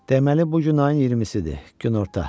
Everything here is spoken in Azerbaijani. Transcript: Deməli bu gün ayın 20-sidir, günorta.